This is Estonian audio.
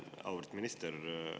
Auväärt minister!